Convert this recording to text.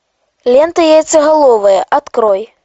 лента яйцеголовые открой